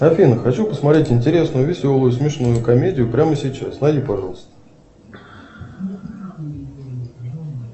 афина хочу посмотреть интересную веселую смешную комедию прямо сейчас найди пожалуйста